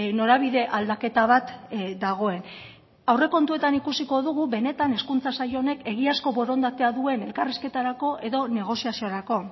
norabide aldaketa bat dagoen aurrekontuetan ikusiko dugu benetan hezkuntza saila honek egiazko borondatea duen elkarrizketarako edo negoziaziorako